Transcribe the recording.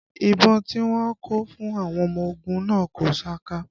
Ìbọn tí wọ́n kó fún àwọn ọmọ ogun náà kò saka